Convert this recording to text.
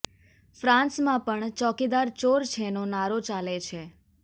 ફ્રાન્સમાં પણ ચોકીદાર ચોર છે નો નારો ચાલે છે